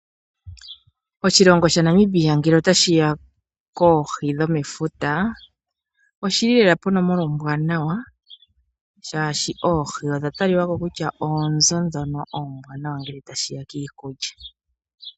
Oshilongo shaNamibia ngele otashi ya poohi dhomefuta oshi li lela ponomola ombwanawa, oshoka oohi odha talika ko oonzo ndhono oombwanawa ngele tashi ya piikulya.